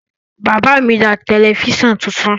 Bàbá mi ra tẹlifíṣàn tuntun.